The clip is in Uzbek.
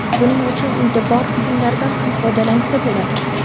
Buning uchun uyda bor buyumlardan ham foydalansa bo‘ladi.